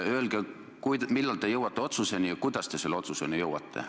Öelge, millal te jõuate otsuseni ja kuidas te selle otsuseni jõuate.